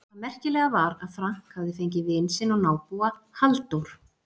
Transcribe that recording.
Það merkilega var að Frank hafði fengið vin sinn og nábúa, Halldór